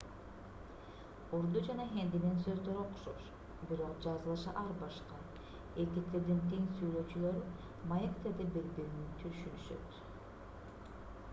урду жана хиндинин сөздөрү окшош бирок жазылышы ар башка эки тилдин тең сүйлөөчүлөрү маектерде бири-бирин түшүнүшөт